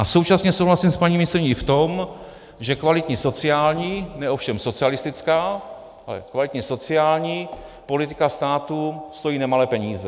A současně souhlasím s paní ministryní v tom, že kvalitní sociální, ne ovšem socialistická, ale kvalitní sociální politika státu stojí nemalé peníze.